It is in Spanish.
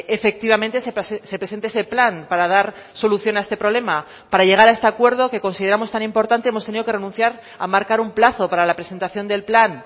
efectivamente se presente ese plan para dar solución a este problema para llegar a este acuerdo que consideramos tan importante hemos tenido que renunciar a marcar un plazo para la presentación del plan